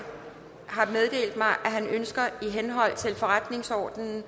har meddelt mig at han ønsker i henhold til forretningsordenens